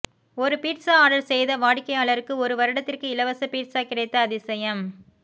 ஒரு pizza order செய்த வாடிக்கையாளருக்கு ஒரு வருடத்திற்கு இலவச பீட்சா கிடைத்த அதிசயம்